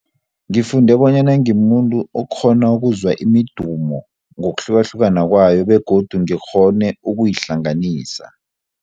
Ngifunde bonyana ngimuntu okghona ukuzwa imidumo ngokuhlukahlukana kwayo begodu ngikghone ukuyihlanganisa.